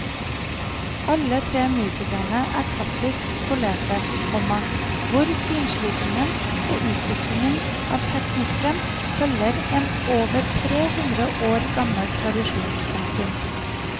Alle tre musikerne er klassisk skolerte, komma hvor finslipingen og utviklingen av teknikken følger en over tre hundre år gammel tradisjon. punktum